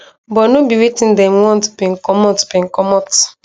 but no be wetin dem want bin comot bin comot